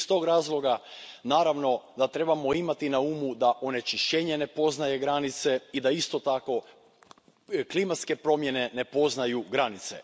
Iz tog razloga, naravno, da trebamo imati na umu da onečišćenje ne poznaje granice i da isto tako klimatske promjene ne poznaju granice.